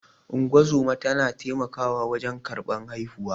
Ungozoma tana taimakawa wajen karɓar haihuwa.